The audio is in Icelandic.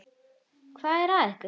Hvað er að ykkur?